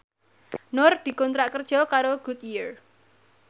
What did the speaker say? Nur dikontrak kerja karo Goodyear